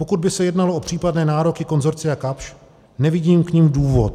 Pokud by se jednalo o případné nároky konsorcia Kapsch, nevidím k nim důvod.